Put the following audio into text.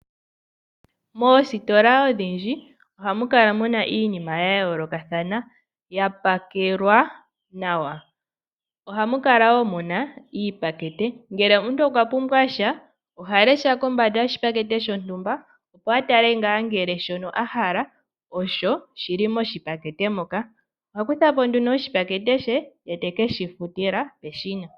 Moositila odhindji ohamu Kala mu na iinima ya yoolokathana thana ya pakelwa nawa .Ohamu kala woo mu na iipakete ngele omuntu okwa pumbwa sha oha lesha kombanda yoshipakete shontumba opo a tale ngaa ngele shontumba sho a hala osho shi li mepakete moka. Oha kutha po nduno oshipakete she e teke shi futila peshina.